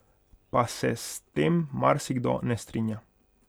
Pa se s tem marsikdo ne strinja.